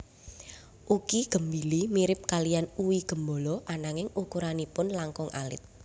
Uqi gembili mirip kaliyan uwi gembolo ananging ukuranipun langkung alit